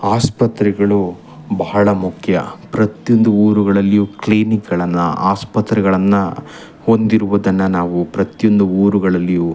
ಆಸ್ಪತ್ರೆಗಳು ಬಹಳ ಮುಖ್ಯ ಪ್ರತಿಯೊಂದು ಊರುಗಳಲ್ಲಿಯು ಕ್ಲಿನಿಕ್ ಗಳನ್ನ ಆಸ್ಪತ್ತೆಗಳನ್ನ ಹೊಂದಿರುವುದನ್ನು ನಾವು ಪ್ರತಿಯೊಂದು ಊರುಗಳಲ್ಲಿಯು --